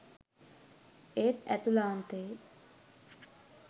ඒත් ඇතුළාන්තයේ